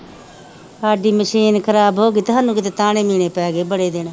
ਸਾਡੀ ਮਸ਼ੀਨ ਖ਼ਰਾਬ ਹੋ ਗਈ ਤੇ ਸਾਨੂੰ ਕਿਤੇ ਬੜੇ ਦਿਨ